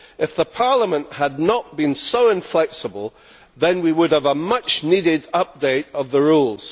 If the Parliament had not been so inflexible, then we would have a much needed update of the rules.